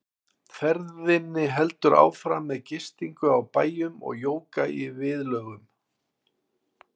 Ferðinni heldur áfram með gistingu á bæjum og jóga í viðlögum.